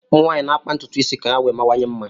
Ụmụ nwaanyị na-akpa ntụtụ isi ha ka ha wee mawanye mma